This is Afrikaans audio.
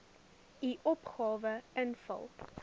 u opgawe invul